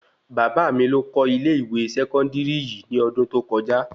Bàbá mí ló kọ́ ilé-ìwé sẹkọndiri yìí nì ọdún tó kọjá